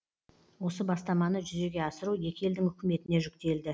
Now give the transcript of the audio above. осы бастаманы жүзеге асыру екі елдің үкіметіне жүктелді